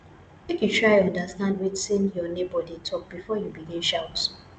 make you try understand wetin your nebor dey tok before you begin shout